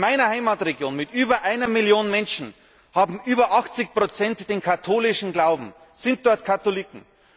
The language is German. In meiner Heimatregion mit über einer Million Menschen haben über 80 den katholischen Glauben, sind Katholiken.